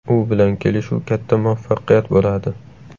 U bilan kelishuv katta muvaffaqiyat bo‘ladi.